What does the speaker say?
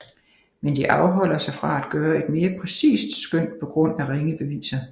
Men de afholder sig fra at gøre et mere præcist skøn på grund af ringe beviser